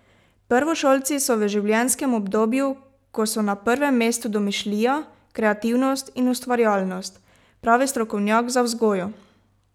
Prvošolci so v življenjskem obdobju, ko so na prvem mestu domišljija, kreativnost in ustvarjalnost, pravi strokovnjak za vzgojo.